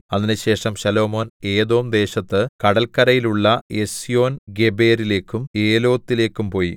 അതിന് ശേഷം ശലോമോൻ ഏദോംദേശത്ത് കടല്ക്കരയിലുള്ള എസ്യോൻഗേബെരിലേക്കും ഏലോത്തിലേക്കും പോയി